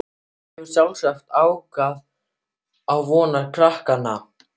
Það hefur sjálfsagt aukið á vonir krakkanna.